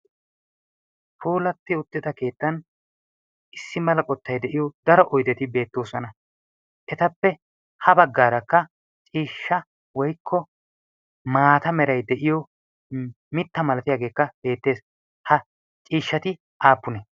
poolatti uttida keettan issi malaqottai de'iyo daro oydeti beettoosona etappe ha baggaarakka ciishsha woykko maata meray de7iyo mitta malatiyaageekka beettees ha ciishshati aapune